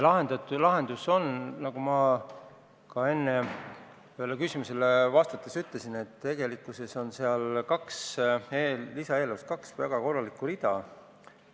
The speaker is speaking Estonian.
Ja lahendus on, nagu ma enne ühele küsimusele vastates ütlesin, et tegelikult on lisaeelarves kaks väga korralikku rida.